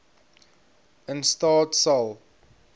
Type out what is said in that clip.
in staat sal